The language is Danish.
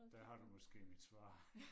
Der har du måske mit svar